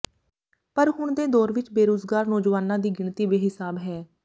ਪਰ ਹੁਣ ਦੇ ਦੌਰ ਵਿਚ ਬੇਰੁਜ਼ਗਾਰ ਨੌਜਵਾਨਾਂ ਦੀ ਗਿਣਤੀ ਬੇਹਿਸਾਬ ਹੈ